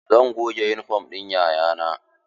Zan goge yunifom ɗin 'ya'ya na.